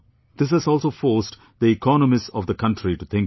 This has also forced the economists of the country to think differently